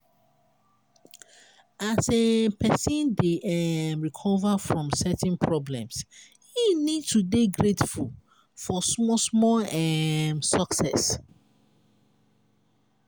as um person dey um recover from certain problems im need to dey grateful for small small um success